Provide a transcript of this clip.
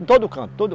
Em todo canto. todo